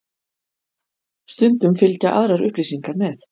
Stundum fylgja aðrar upplýsingar með.